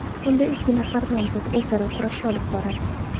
Unda ikki nafar nomzod o‘zaro kurash olib boradi.